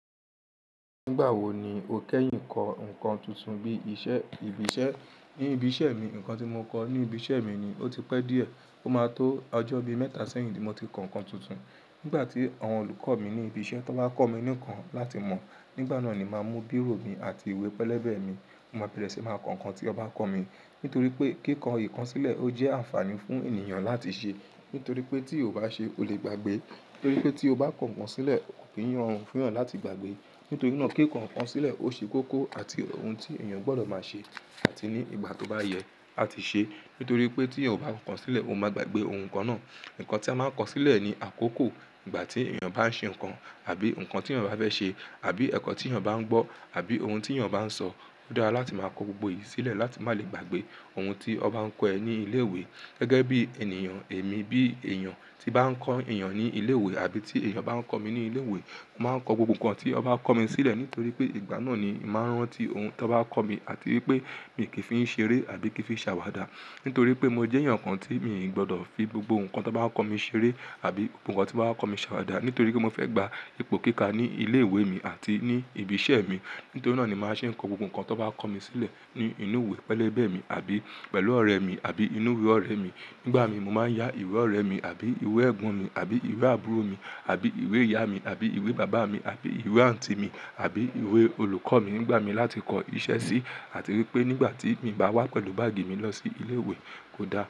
Nígbà wo ni o kẹ́yìn kọ ǹkan tuntun bí iṣẹ́, ibi iṣẹ́? Ní ibi iṣẹ́ mi, ǹkan tí mo kọ ní ibi iṣẹ́ mi ó ti pẹ́ díẹ̀. Ó máa tó ọjọ́ bí mẹ́ta sẹ́yìn tí mo ti kọ ǹkan tuntun. Nígbà tí àwọn olùkọ́ mi ní ibi iṣẹ́ tó bá kọ́ mi nǹkan láti mọ̀, nígbà náà ni màá mú bírò mi àti ìwé pẹlẹ́bẹ́ mi, mo máa bẹ̀rẹ̀ sí máa kọ ǹkan tí wọ́n bá kọ́ mi. Nítorí pé kíkọ ǹkan sílẹ̀ ó jẹ́ àǹfààní fún ènìyàn láti ṣe. Nítorí pé tí o bá ṣe, o lè gbàgbé. Nítorí pé tí o bá kọ ǹkan sílẹ̀, kò ki n rorun fún'yàn láti gbàgbé. Nítorí náà kíkọ ǹkan sílẹ̀ ó ṣe kókó àti ohun tí ènìyàn gbọ́dọ̀ máa ṣe àti ní ìgbà tó bá yẹ á ti ṣe. Nítorí pé tí o bá kọ sílẹ̀, ó máa gbàgbé ohun nkan náà. Ǹkan tí a máa ń kọ sílẹ̀ ni àkókò ìgbà tí ènìyàn bá ń ṣe ǹkan àbí ǹkan tí ènìyàn bá fẹ́ ṣe àbí ẹ̀kọ́ tí ènìyàn bá ń gbọ́ àbí ohun tí ènìyàn bá ń sọ. Ó dára láti máa kọ gbogbo èyí sílẹ̀ láti má lè gbàgbé ohun tí wọ́n bá ń kọ ẹ ní ilé ìwé. Gẹ́gẹ́ bí ènìyàn èmi bí èèyàn tí bá ń kọ́ èèyàn ní ilé ìwé àbí tí èèyàn bá ń kọ́ mi ní ilé ìwé, màá ń kọ gbogbo ǹkan tí wọ́n bá kọ́ mi sílẹ̀ nítorí pé ìgbà náà ni màá rántí ohun tí wọ́n bá kọ́ mi àti wípé mi kì í fi ń ṣeré àbí kì í fi ń ṣàwàdà. Nítorí pé mo jẹ́ èèyàn kan tí mi ò gbọ́dọ̀ fi gbogbo ǹkan tí wọ́n bá kọ́ mi ṣeré àbí ohun kan tí wọ́n bá kọ́ mi ṣàwàdà. Nítorí pé mo fẹ́ gba ipò kíkà ní ilé ìwé mi àti ní ibi iṣẹ́ mi. Nítorí náà ni màá ṣe ń kọ gbogbo ǹkan tí wọ́n bá kọ́ mi sílẹ̀ ní inú ìwé pẹlẹ́bẹ́ mi àbí pẹ̀lú ọ̀rẹ́ mi àbí inú ìwé ọ̀rẹ́ mi. Nígbà mi, mo máa ń yá ìwé ọ̀rẹ́ mi àbí ìwé ẹ̀gbọ́n mi àbí ìwé àbúrò mi àbí ìwé ìyá mi àbí ìwé bàbá mi àbí ìwé àǹtí mi àbí ìwé olùkọ́ mi nígbà mi láti kọ iṣẹ́ sí. Àti wípé nígbà tí mi bá wá pẹ̀lú báàgì mi lọ sí ilé ìwé, ó dára.